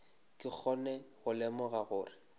ke kgone go lemoga gore